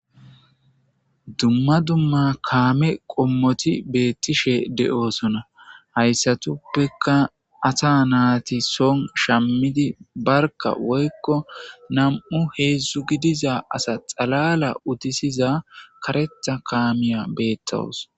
Dumma dumma kaame qommoti beetishe de'osona hayssatuppekka asa nayti soon shammidi barkka woykko nam'u heedzdzu gidiza asa xalala utisiza kareththa kaamiya beetawus.